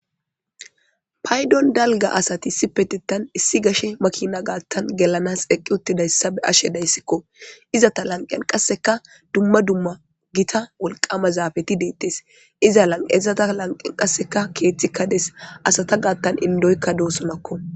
Paydon dalga asati sipetetan issi gashe makina gaattan gelanas eqqi uttidayssa be ashe dayssikko izata lanqen qasseka dumma dumma gita wolqama zaafeti deittes iza lanqezata lanqen qasseka keeththi kades asata gaattan indoykka doosomakko.